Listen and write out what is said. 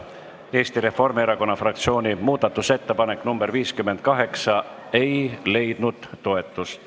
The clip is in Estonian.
Eesti Reformierakonna fraktsiooni muudatusettepanek nr 58 ei leidnud toetust.